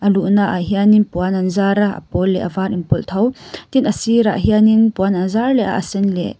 a luh naah hianin puan an zar a a pawl leh var inpawlh tho tin a sirah hianin puan an zar leh a a sen leh--